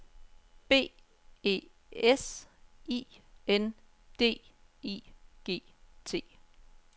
B E S I N D I G T